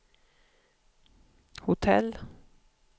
hotell